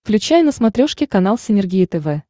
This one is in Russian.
включай на смотрешке канал синергия тв